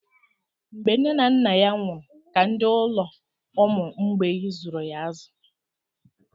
Mgbe nne na nna ya nwụrụ ka ndị ụlọ ụmụ mgbei zụrụ ya azụ.